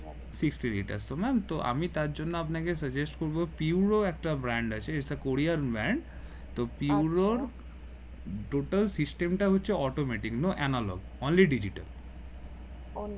fifty retouch তো ma'am তো আমি তার জন্যে আপনাকে suggest করবো পিওরো একটা brand আছে is the কোরিয়ান brand তো পিওরোর Total system টা হচ্ছে automatic no analogue only digital